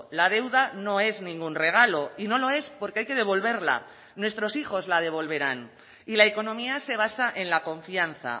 la deuda no es ningún regalo y no lo es porque hay que devolverla nuestros hijos la devolverán y la economía se basa en la confianza